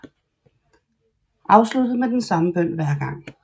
Afsluttet med den samme bøn hver gang